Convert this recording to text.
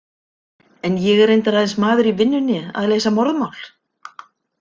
En ég er reyndar aðeins maður í vinnunni að leysa morðmál.